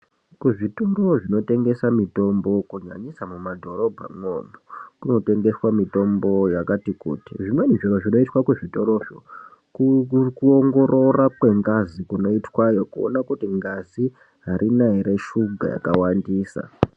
Kuzvitoro zvinotengesa mitombo kunyanyisa mumadhorobhamwo kunotengeswa mitombo yakati kuti, zvimweni zviro zvinoiswa kuzvitoro zvo kuongorora kwengazi kunoitwayo kuona kuti ngazi harina ere shuga yakawandisa.